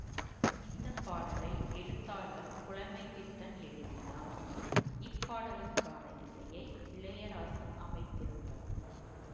இந்த பாடலை எழுத்தாளர் புலைமைப் பித்தன் எழுதினார் இப் பாடலுக்கான இசையை இளையராசா அமைத்திருந்தார்